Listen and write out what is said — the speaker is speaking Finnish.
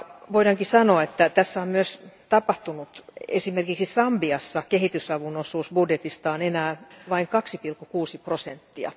Voidaankin sanoa, että näin on myös tapahtunut, sillä esimerkiksi Sambiassa kehitysavun osuus budjetista on enää vain 2,6 prosenttia.